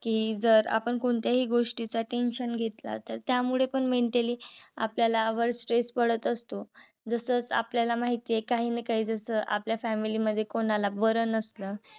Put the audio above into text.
कि जर आपण कोणत्याही गोष्टीच tension घेतलं तर त्यामुळे पण mentally आपल्याला work stress पडत असतो. जसच आपल्याला माहित आहे. काही ना काही जस आपल्या family कोणाला बर नसलं